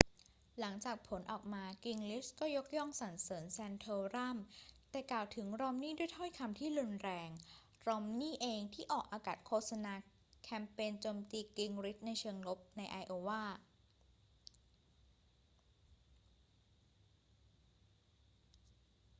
หลังจากผลออกมา กิงริชก็ยกย่องสรรเสริญแซนโทรัม แต่กล่าวถึงรอมนีย์ด้วยถ้อยคำที่รุนแรง รอมนีย์นี่เองที่ออกอากาศโฆษณาแคมเปญโจมตีกิงริชในเชิงลบในไอโอวา